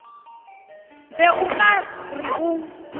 be o ka re o